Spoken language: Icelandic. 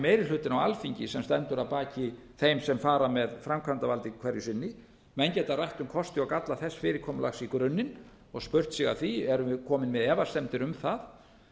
meiri hlutinn á alþingi sem stendur að baki þeim sem fara með framkvæmdavaldið hverju sinni menn geta rætt um kosti og galla þess fyrirkomulags í grunninn og spurt sig að því erum við komin með efasemdir um það